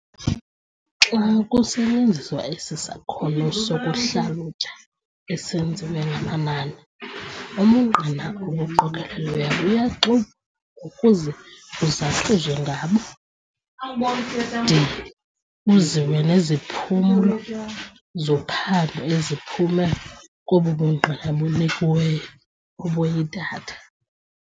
Xa kusetyenziswa esi sakhono sokuhlalutya esenziwa ngamanani, ubungqina obuqokolelweyo buyaxovulwa ukuze kuzathuzwe ngabo, de kuziwe neziphumo zophando eziphume kobo bungqina bunikiweyo obuyi-data.